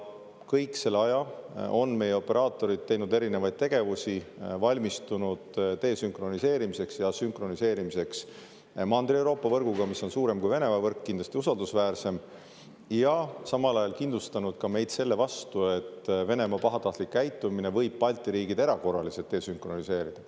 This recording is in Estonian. Kogu selle aja on meie operaatorid teinud erinevaid tegevusi, valmistunud desünkroniseerimiseks ja sünkroniseerimiseks Mandri-Euroopa võrguga, mis on suurem kui Venemaa võrk ja kindlasti usaldusväärsem, ja samal ajal kindlustanud ka meid selle vastu, et Venemaa pahatahtlik käitumine võib Balti riigid erakorraliselt desünkroniseerida.